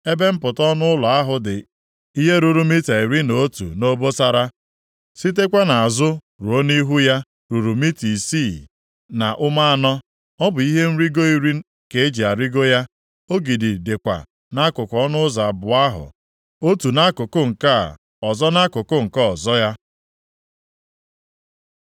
Ebe mpụta ọnụ ụlọ ahụ dị ihe ruru mita iri na otu nʼobosara, sitekwa nʼazụ ruo nʼihu ya ruru mita isii na ụma anọ. Ọ bụ ihe nrigo iri ka eji arịgo ya. Ogidi dịkwa nʼakụkụ ọnụ ụzọ abụọ ahụ otu nʼakụkụ nke a ọzọ nʼakụkụ nke ọzọ ya.